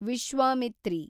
Vishwamitri